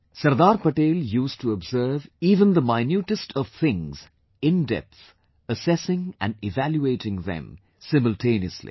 Sardar Patel used to observe even the minutest of things indepth; assessing and evaluating them simultaneously